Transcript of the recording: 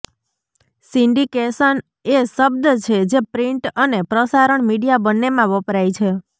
syndication એ શબ્દ છે જે પ્રિન્ટ અને પ્રસારણ મીડિયા બંનેમાં વપરાય છે